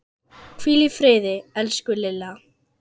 Hvíl í friði, elsku Lilla.